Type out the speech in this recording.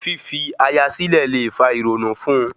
Fífi aya silẹ le fa ìrònú fun-un